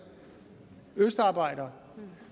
østarbejdere